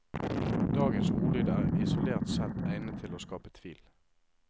Dagens ordlyd er isolert sett egnet til å skape tvil.